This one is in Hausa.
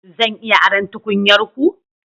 Zan iya aron tukunyar ku?